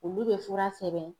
Olu be fura sɛbɛn